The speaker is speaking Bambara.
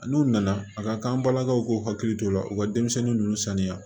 N'u nana a ka kan an balakaw k'u hakili t'o la u ka denmisɛnnin ninnu saniya